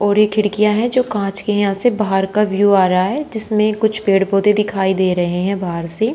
और ये खिड़कियां है जो की कांच की हैं यहां से बाहर का व्यू आ रहा है जिसमें कुछ पेड़ पौधे दिखाई दे रहे हैं बाहर से।